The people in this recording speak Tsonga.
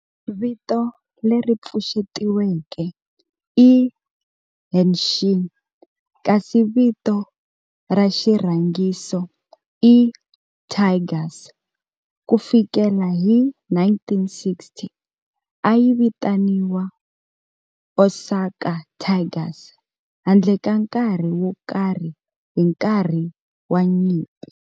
Vito leri pfuxetiweke i "Hanshin" kasi vito ra xirhangiso i "Tigers". Ku fikela hi 1960, a yi vitaniwa Osaka Tigers handle ka nkarhi wo karhi hi nkarhi wa nyimpi.